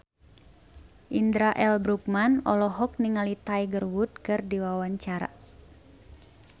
Indra L. Bruggman olohok ningali Tiger Wood keur diwawancara